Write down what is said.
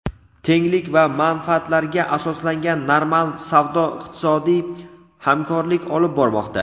tenglik va manfaatlarga asoslangan normal savdo-iqtisodiy hamkorlik olib bormoqda.